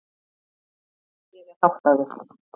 Ég er háttaður.